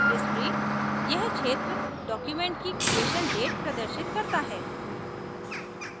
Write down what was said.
historyयह क्षेत्र document की creation date creation date प्रदर्शित करता है